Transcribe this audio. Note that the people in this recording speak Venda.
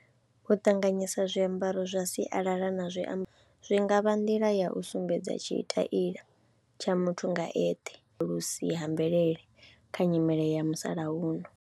U ṱanganyisa zwiambaro zwa sialala na zwiambaro zwi nga vha nḓila ya u sumbedza tshitaila tsha muthu nga eṱhe, vhusi ha mvelele kha nyimele ya musalauno.